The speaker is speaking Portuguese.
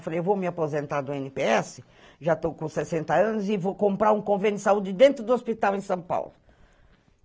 Eu falei, eu vou me aposentar do ene pê esse, já estou com sessenta anos, e vou comprar um convênio de saúde dentro do hospital em São Paulo.